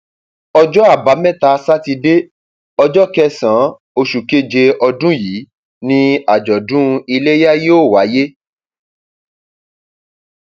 ọjọ àbámẹta sátidé ọjọ kẹsànán oṣù keje ọdún yìí ni àjọdún iléyà yóò wáyé